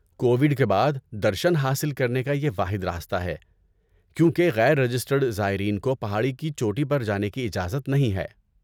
Covid کے بعد، درشن حاصل کرنے کا یہ واحد راستہ ہے کیونکہ غیر رجسٹرڈ زائرین کو پہاڑی کی چوٹی پر جانے کی اجازت نہیں ہے۔